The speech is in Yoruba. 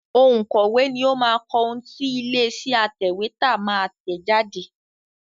Òǹkọ̀wé ni ó máa kọ ohun tí ilé-iṣẹ́ atẹ̀wétà máa tẹ̀ jáde.